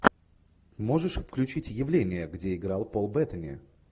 можешь включить явление где играл пол беттани